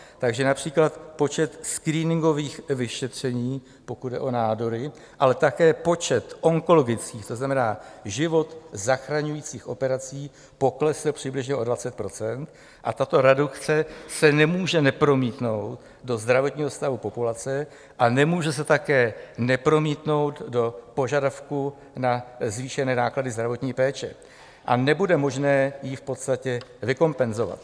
Takže například počet screeningových vyšetření, pokud jde o nádory, ale také počet onkologických, to znamená život zachraňujících operací poklesl přibližně o 20 % a tato redukce se nemůže nepromítnout do zdravotního stavu populace a nemůže se také nepromítnout do požadavků na zvýšené náklady zdravotní péče a nebude možné ji v podstatě vykompenzovat.